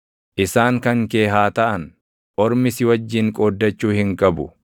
Isaan kan kee haa taʼan; ormi si wajjin qooddachuu hin qabu.